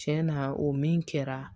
Tiɲɛ na o min kɛra